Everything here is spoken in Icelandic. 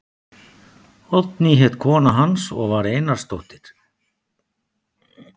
Oddný hét kona hans og var Einarsdóttir.